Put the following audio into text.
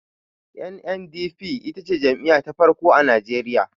NNDP ita ce jam'iya ta farko a najeriya